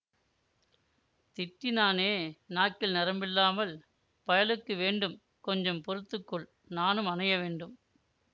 திட்டினானே நாக்கில் நரம்பில்லாமல் பயலுக்கு வேண்டும் கொஞ்சம் பொறுத்துக்கொள் நானும் அணைய வேண்டும்